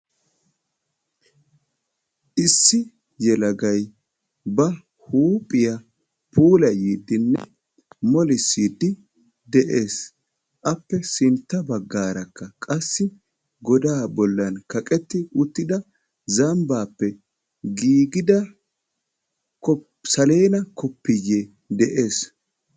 Issi yelagay ba huphiya puulayddinne mollissid de'ees. Appe sintta baggarakka qassi goda bolli kaqeti uttida zambbape giigida salenna koppiye de'ees.